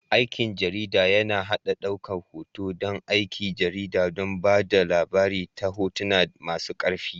Aikin jarida yAna haɗa ɗaukar hoto da aikin jarida don ba da labari ta hotuna masu ƙarfi